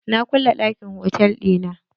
Na kulle ɗakin hotal ɗina.